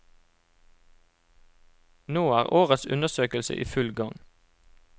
Nå er årets undersøkelse i full gang.